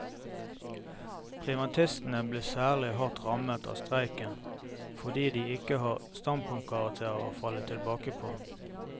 Privatistene blir særlig hardt rammet av streiken fordi de ikke har standpunktkarakterer å falle tilbake på.